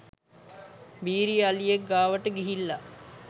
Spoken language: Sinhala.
බීරි අලියෙක් ගාවට ගිහිල්ල